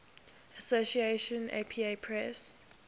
association apa press